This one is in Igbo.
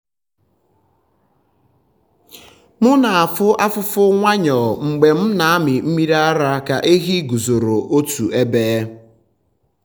m na-afụ afụfụ nwayọọ mgbe m na-amị mmiri ara ka ehi guzoro otu ebe.